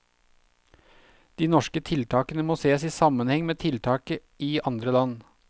De norske tiltakene må sees i sammenheng med tiltak i andre land.